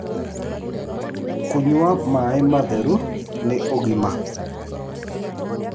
Kũnya mae matherũ nĩ ũgima